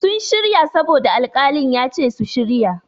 Sun shirya saboda alƙalin ya ce su shirya.